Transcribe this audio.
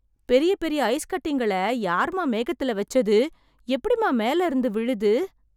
பெரிய பெரிய ஐஸ்கட்டிங்கள யார்மா மேகத்துல வெச்சது... எப்டிமா மேலயிருந்து விழுது...